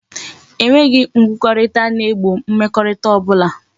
E nweghi nkwukorita na e gbo mmekorita obula